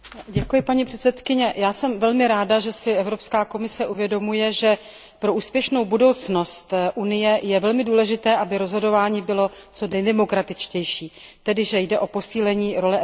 Já jsem velmi ráda, že si Evropská komise uvědomuje, že pro úspěšnou budoucnost Unie je velmi důležité, aby rozhodování bylo co nejdemokratičtější, tedy že jde o posílení role Evropského parlamentu.